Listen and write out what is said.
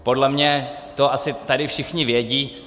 Podle mě to tady asi všichni vědí.